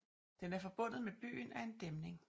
Den er forbundet med byen af en dæmning